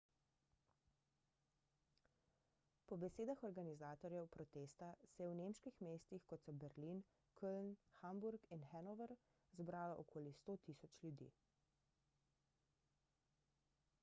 po besedah organizatorjev protesta se je v nemških mestih kot so berlin köln hamburg in hannover zbralo okoli 100.000 ljudi